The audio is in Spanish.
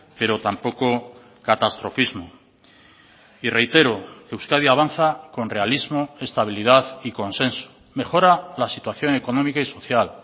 pero tampoco catastrofismo y reitero euskadi avanza con realismo estabilidad y consenso mejora la situación económica y social